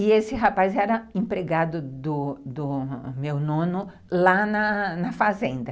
E esse rapaz era empregado do do meu nono lá na fazenda.